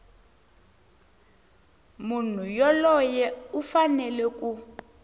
munhu yoloye u fanele ku